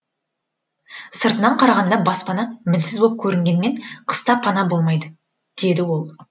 сыртынан қарағанда баспана мінсіз боп көрінгенімен қыста пана болмайды дейді ол